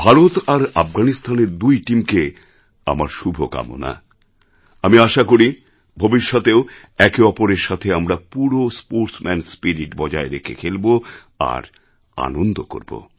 ভারত আর আফগানিস্তানের দুই টিমকে আমার শুভকামনা আমি আশা করি ভবিষ্যতেও একে অপরের সাথে আমরা পুরো স্পোর্টসম্যান স্পিরিট বজায় রেখে খেলব আর আনন্দ করবো